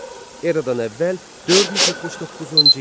Eradan əvvəl 479-cu il.